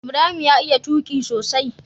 Ibarhim ya iya tuqi sosai